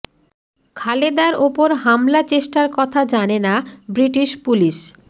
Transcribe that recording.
খালেদার ওপর হামলা চেষ্টার কথা জানে না ব্রিটিশ পুলিশ